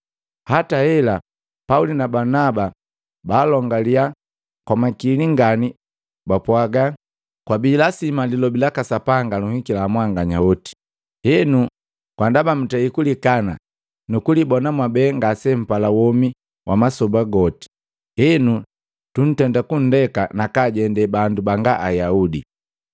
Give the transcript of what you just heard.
Hataela, Pauli na Balunaba baalongila kwamakili ngani bapwaga, “Kwabi lasima lilobi laka Sapanga lunhikila mwanganya hoti, henu ndaba mutei kulikana nukulibona mwabe ngasempala womi wamasoba goti, henu, tutenda kunndeka nakaajende bandu banga Ayaudi.”